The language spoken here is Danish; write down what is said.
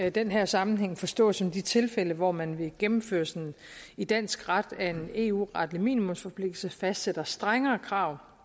i den her sammenhæng forstås som de tilfælde hvor man ved gennemførelsen i dansk ret af en eu retlig minimumsforpligtelse fastsætter strengere krav